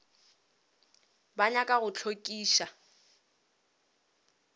ba nyaka go go hlokiša